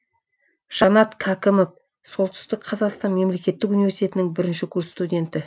жанат кәкімов солтүстік қазақстан мемлекеттік университетінің бірінші курс студенті